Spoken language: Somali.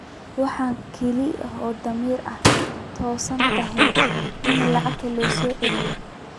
Waxa kaliya ee damiir ahaan toosan tahay in lacagta la soo celiyo.